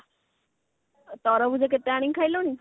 ଆଉ ତରଭୁଜ କେତେ ଆଣି ଖାଇଲୁଣି